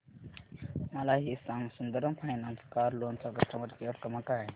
मला हे सांग सुंदरम फायनान्स कार लोन चा कस्टमर केअर क्रमांक काय आहे